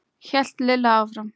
hélt Lilla áfram.